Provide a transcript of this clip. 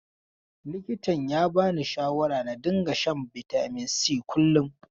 Likitan ya bani shawarar na dinga shan bitamin si kullum.